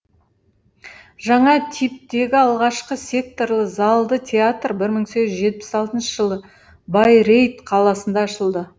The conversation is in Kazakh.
жаңа типтегі алғашқы секторлы залды театр бір мың сегіз жүз жетпіс алтыншы жылы байрейт қаласында ашылды